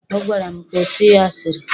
Ọ gwara m, kwụsị asịrị!